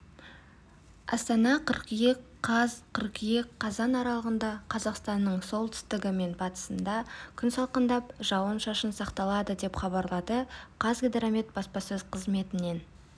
астана қыркүйек қаз қыркүйек қазан аралығында қазақстанның солтүстігі мен батысында күн салқындап жауын-шашын сақталады деп хабарлады қазгидромет баспасөз қызметінен